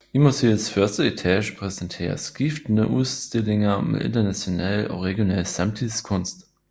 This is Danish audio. I museets første etage præsenteres skiftende udstillinger med international og regional samtidskunst